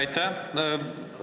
Aitäh!